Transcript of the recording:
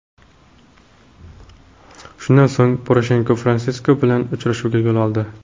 Shundan so‘ng Poroshenko Fransisk bilan uchrashuvga yo‘l oldi.